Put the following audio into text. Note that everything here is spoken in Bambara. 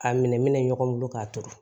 A minɛ minɛ ɲɔgɔn bolo k'a turu